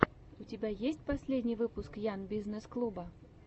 у тебя есть последний выпуск ян бизнесс клуба